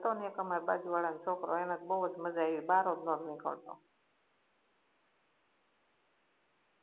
હતો ને એક અમારે બાજુ વાળા નો છોકરો એને તો બઉ જ મજા આઈવી બાર જ નોતો નીકળતો